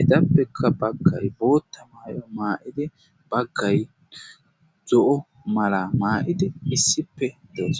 etappekka baggay bootta maayuwaa maa'idi baggay zo'o mala maa'idi issippe de'ees